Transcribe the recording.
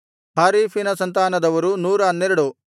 ಹಾರಿಫಿನ ಸಂತಾನದವರು 112